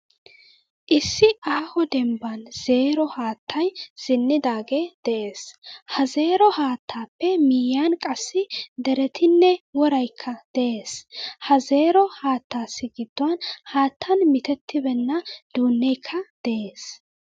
Issi aaho dembban zeero haattay zen'idage de'ees. Ha zeero haattaappe miyiyan qassi derettine woraykka de'ees. Ha zeero haattaassi giduwan haattan mitetibena duunekka de'ees.